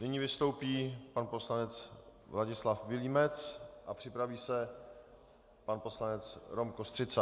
Nyní vystoupí pan poslanec Vladislav Vilímec a připraví se pan poslanec Rom Kostřica.